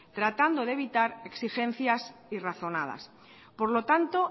tratando de evitar exigencias irrazonadas por lo tanto